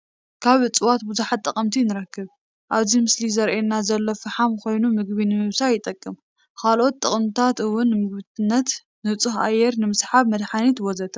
ካብ እፅዋት ብዙሓት ጠቅምታት ንረክብ ። ኣብዚ ምስሊ እንሪኦ ዘለና ፋሓም ኮይኑ ምግቢ ንምብሳል ይጠቅም። ካለኦሎት ጠቅምታት እውን ንምግብነት፣ ኑፁህ ኣየር ንምስሓብ፣ ንመድሓኒት....ወዘተ